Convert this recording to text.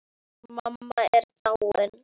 Mamma er dáin.